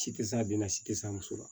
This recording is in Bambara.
Si tɛ s'a den na si tɛ s'a muso la